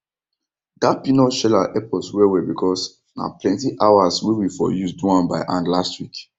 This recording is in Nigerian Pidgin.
dat peanut sheller help us well well because na plenty hours wey we for use do am by hand last week